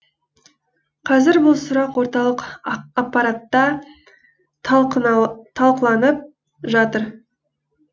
қазір бұл сұрақ орталық аппаратта талқыланып жатыр